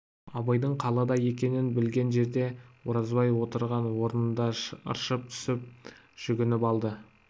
абайдың қалада екенін білген жерде оразбай отырған орнында ыршып түсіп жүгініп алды